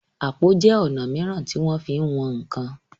àpò jé ọnà míràn tí wón fín wón nkán.